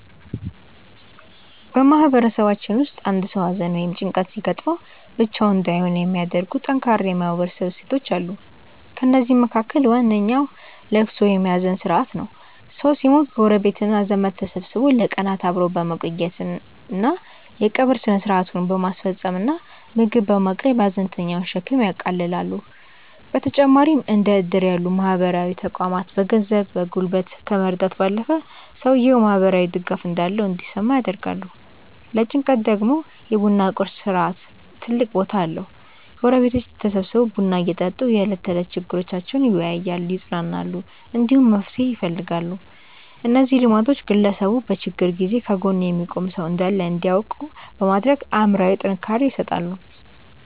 በማህበረሰባችን ውስጥ አንድ ሰው ሐዘን ወይም ጭንቀት ሲገጥመው ብቻውን እንዳይሆን የሚያደርጉ ጠንካራ የማህበረሰብ እሴቶች አሉ። ከእነዚህም መካከል ዋነኛው ልቅሶ ወይም የሐዘን ሥርዓት ነው። ሰው ሲሞት ጎረቤትና ዘመድ ተሰብስቦ ለቀናት አብሮ በመቆየት፣ የቀብር ሥነ ሥርዓቱን በማስፈጸም እና ምግብ በማቅረብ የሐዘንተኛውን ሸክም ያቃልላሉ። በተጨማሪም እንደ ዕድር ያሉ ማህበራዊ ተቋማት በገንዘብና በጉልበት ከመርዳት ባለፈ፣ ሰውየው ማህበራዊ ድጋፍ እንዳለው እንዲሰማው ያደርጋሉ። ለጭንቀት ደግሞ የ ቡና ቁርስ ሥርዓት ትልቅ ቦታ አለው፤ ጎረቤቶች ተሰብስበው ቡና እየጠጡ የዕለት ተዕለት ችግሮቻቸውን ይወያያሉ፣ ይጽናናሉ፣ እንዲሁም መፍትሄ ይፈልጋሉ። እነዚህ ልማዶች ግለሰቡ በችግር ጊዜ ከጎኑ የሚቆም ሰው እንዳለ እንዲያውቅ በማድረግ አእምሮአዊ ጥንካሬ ይሰጡታል።